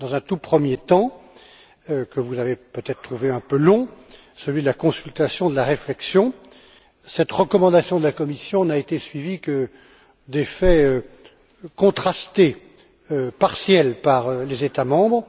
Dans un tout premier temps, que vous avez peut être trouvé un peu long celui de la consultation et de la réflexion cette recommandation de la Commission n'a été suivie que d'effets contrastés, partiels, dans les États membres.